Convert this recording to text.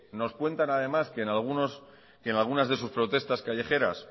nos cuentan además que en algunas de sus protestas callejeras